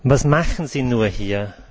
Was machen Sie nur hier?